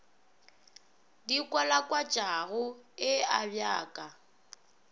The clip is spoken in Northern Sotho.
di kwalakwatšago e abja ka